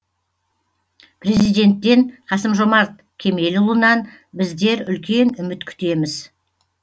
президенттен қасым жомарт кемелұлынан біздер үлкен үміт күтеміз